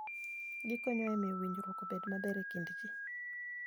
Gikonyo e miyo winjruok obed maber e kind ji.